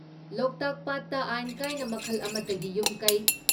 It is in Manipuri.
ꯂꯣꯛꯇꯥꯛ ꯄꯥꯠꯇ ꯑꯥꯏꯟ ꯀꯥꯏꯅ ꯃꯈꯜ ꯑꯃꯠꯇꯒꯤ ꯌꯨꯝꯀꯩ,